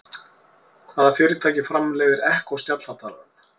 Hvaða fyrirtæki framleiðir Echo snjallhátalarann?